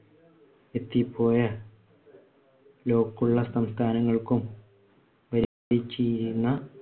എത്തിപ്പോയ ക്കുള്ള സംസ്ഥാനങ്ങൾക്കും ഭരിച്ചിരുന്ന